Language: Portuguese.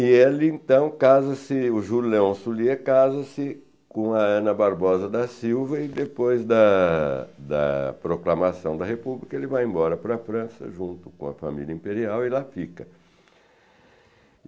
E ele então casa-se, o Julião Sullyé, casa-se com a Ana Barbosa da Silva e depois da da proclamação da república ele vai embora para a França junto com a família imperial e lá fica.